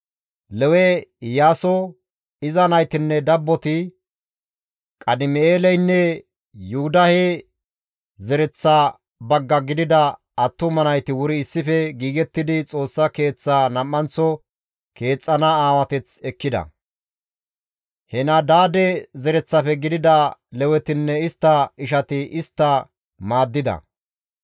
Lewe Iyaaso, iza naytinne dabboti, Qadim7eeleynne Yuhudahe zereththa bagga gidida attuma nayti wuri issife giigettidi Xoossa Keeththaa nam7anththo keexxana aawateth ekkida; Henadaade zereththafe gidida Lewetinne istta ishati istta maaddida.